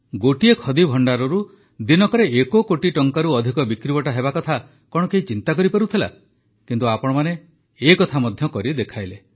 ଗୋଟିଏ ଖଦୀଭଣ୍ଡାରରୁ ଦିନକରେ ଏକ କୋଟି ଟଙ୍କାରୁ ଅଧିକ ବିକ୍ରିବଟା ହେବାକଥା କଣ କେହି ଚିନ୍ତା କରିପାରୁଥିଲା କିନ୍ତୁ ଆପଣମାନେ ଏକଥା ମଧ୍ୟ କରି ଦେଖାଇଲେ